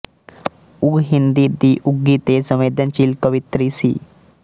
ਉਹ ਹਿੰਦੀ ਦੀ ਉੱਘੀ ਤੇ ਸੰਵੇਦਨਸ਼ੀਲ ਕਵਿਤਰੀ ਸੀ